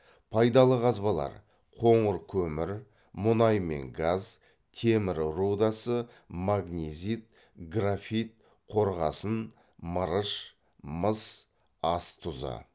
пайдалы қазбалар қоңыр көмір мұнай мен газ темір рудасы магнезит графит қорғасын мырыш мыс ас тұзы